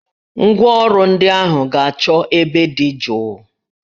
Ngwa ọrụ ndị ahụ ga-achọ ebe dị jụụ